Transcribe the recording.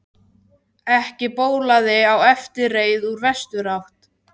Ekki bólaði á eftirreið úr vesturátt.